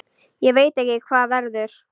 Ég veit ekki hvað verður.